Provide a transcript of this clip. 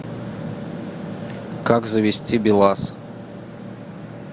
как завести белаз